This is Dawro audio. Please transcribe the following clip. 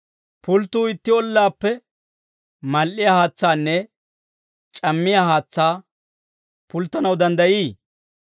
Pulttuu itti ollaappe mal"iyaa haatsaanne c'ammiyaa haatsaa pulttanaw danddayii?